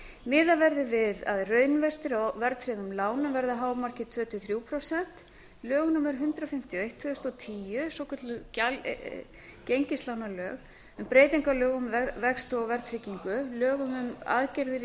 miðað verði við að raunvextir á verðtryggðum lánum verði að hámarki tvö til þrjú prósent lög númer hundrað fimmtíu og eitt tvö þúsund og tíu svokölluð gengislánalög um breytingu á lögum um vexti og verðtryggingu lögum um aðgerðir í